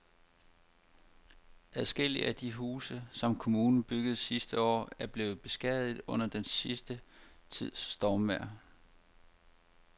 Adskillige af de huse, som kommunen byggede sidste år, er blevet beskadiget under den sidste tids stormvejr.